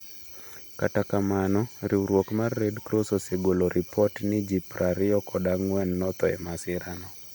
Kata kamano, riwruok mar Red Cross osegolo ripot ni ji prariyo kod ang'wen notho e masirano.